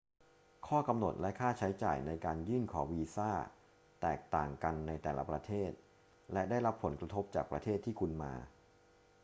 ข้อกำหนดและค่าใช้จ่ายในการยื่นขอวีซ่าแตกต่างกันในแต่ละประเทศและได้รับผลกระทบจากประเทศที่คุณมา